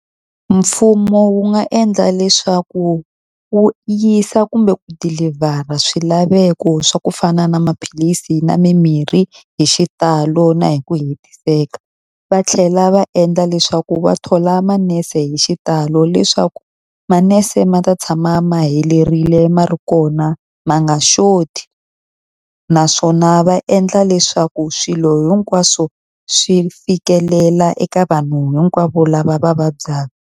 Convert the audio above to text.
Mfumo wu nga endla leswaku wu yisa kumbe ku deliver-a swilaveko swa ku fana na maphilisi na mimirhi hi xitalo na hi ku hetiseka. Va tlhela va endla leswaku va thola manese hi xitalo leswaku, manese ma ta tshama ma helerile ma ri kona ma nga xoti. Naswona va endla leswaku swilo hinkwaswo swi fikelela eka vanhu hinkwavo lava va vabyaka.